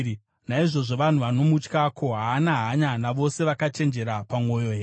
Naizvozvo, vanhu vanomutya, ko, haana hanya navose vakachenjera pamwoyo here?”